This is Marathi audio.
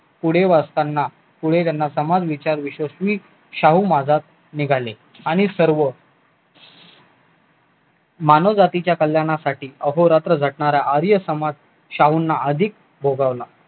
पुढे वाचताना पुढे त्यांना समाज विचार विश्वसनीय शाहू महाराज निघाले आणि सर्व मानव जातीच्या कल्याणासाठी अहो रात्र झटणारा आर्य समाज शाहूंना अधिक भोगवला